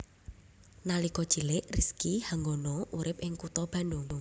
Nalika cilik Rizky Hanggono urip ing kutha Bandung